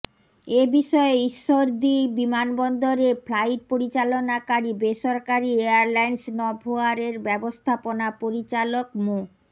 এ বিষয়ে ঈশ্বরদী বিমানবন্দরে ফ্লাইট পরিচালনাকারী বেসরকারি এয়ারলাইন্স নভোয়ারের ব্যবস্থাপনা পরিচালক মো